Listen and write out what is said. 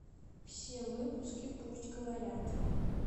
все выпуски пусть говорят